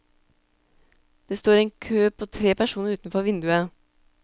Det står en kø på tre personer utenfor vinduet.